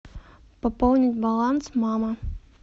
пополнить баланс мама